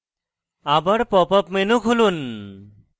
আবার pop up menu খুলুন